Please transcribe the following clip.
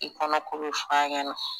I kɔnɔko be f'a ɲɛna